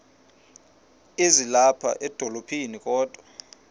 ezilapha edolophini kodwa